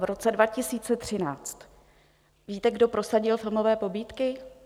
V roce 2013 - víte, kdo prosadil filmové pobídky?